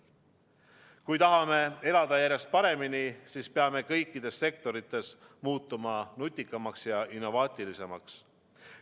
Kui tahame elada järjest paremini, siis peame kõikides sektorites muutuma nutikamaks ja innovaatilisemaks.